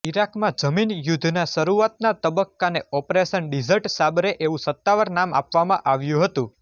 ઈરાકમાં જમીન યુદ્ધના શરૂઆતના તબક્કાને ઓપરેશન ડિઝર્ટ સાબરે એવું સત્તાવાર નામ આપવામાં આવ્યું હતું